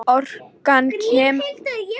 Orkan kemur frá hægfara kælingu geymisins sjálfs.